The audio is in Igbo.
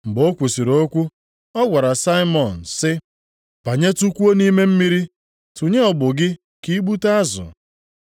Mgbe o kwusiri okwu, ọ gwara Saimọn sị, “Banyetụkwuo nʼime mmiri, tụnye ụgbụ gị ka i gbute azụ.”